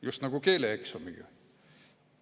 Just nagu keeleeksamiga.